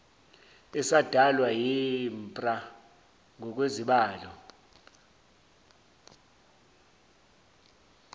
esadalwa yimpra ngokwezibalo